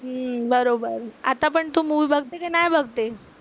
हम्म बरोबर. आता पण तू मूवी बघते का नाही बघते?